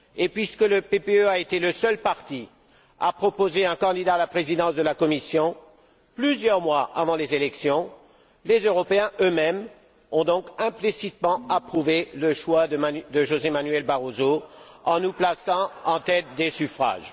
Puisque le PPE a été le seul parti à proposer un candidat à la présidence de la Commission, plusieurs mois avant les élections, les Européens eux mêmes ont donc implicitement approuvé le choix de José Manuel Barroso, en nous plaçant en tête des suffrages.